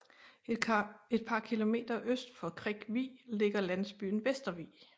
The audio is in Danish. Et par kilometer øst for Krik Vig ligger landsbyen Vestervig